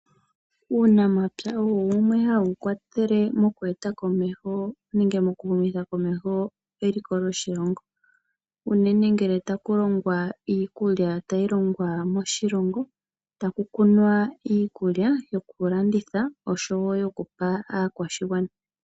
Uunamapya ohawu kwathele mokuhumitha komeho eliko lyoshilongo unene uuna taku longwa iikulya tayi longwa moshilongo notakukunwa iikulya yokulandithwa osho wo yokupa aakwashigwana.